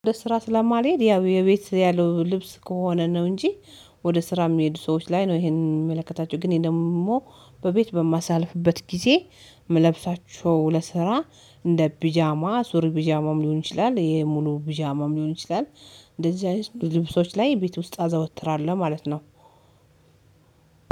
ወደ ስራ ስለማልሄድ ያው የቤት ያለው ልብስ ከሆነ ነው እንጂ። ወደ ስራ የሚሄዱ ሰዎች ላይ ነው ይሄንን የሚመለከታቸው ግን ይሄ ደግሞ በቤት በማሳልፍበት ጊዜ ምለብሳቸው ለስራ እንደ ቢጃማ ሱሪ ቢጃማም ሊሆን ይችላል የሙሉ ቢጃማም ሊሆን ይችላል። እንደዚህ ልብሶች ላይ ቤት ውስጥ አዘወትራለሁ ማለት ነው።